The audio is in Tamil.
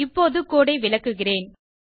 இப்போது கோடு ஐ விளக்குகிறேன்